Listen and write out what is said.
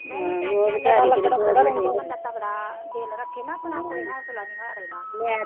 ਬੰਦਾ ਤਗੜਾ ਦਿੱਲ ਰੱਖੇ ਨਾਂ ਆਪਣਾ ਤਾਂ ਕੋਈ ਨੀ ਹੋਨਸਲਾ ਨੀ ਹਾਰੇ ਨਾਂ,